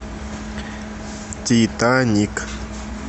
титаник